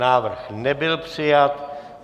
Návrh nebyl přijat.